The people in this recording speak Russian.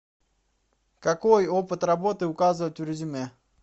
какой опыт работы указывать в резюме